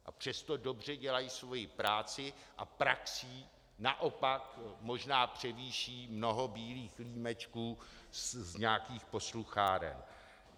A přesto dobře dělají svoji práci a praxí naopak možná převýší mnoho bílých límečků z nějakých poslucháren.